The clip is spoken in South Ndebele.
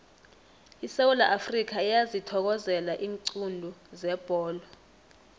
isewula afrikha iyazithokozela iinqundu zebholo